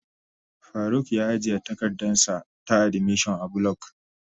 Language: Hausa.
Faruk ya ajiye takardarsa ta admission a block.